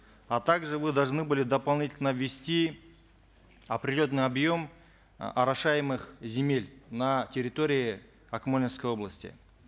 а также вы должны были дополнительно ввести определенный объем э орошаемых земель на территории акмолинской области